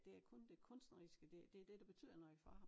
Det er kun det kunstneriske det det dét der betyder noget for ham